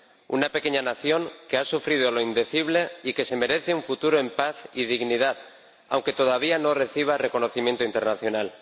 Una pequeña nación que ha sufrido lo indecible y que se merece un futuro en paz y dignidad, aunque todavía no reciba reconocimiento internacional.